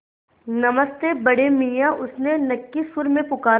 नमस्ते बड़े मियाँ उसने नक्की सुर में पुकारा